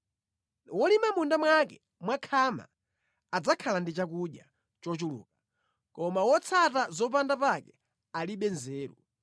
Wolima mʼmunda mwake mwakhama adzakhala ndi chakudya chochuluka, koma wotsata zopanda pake alibe nzeru.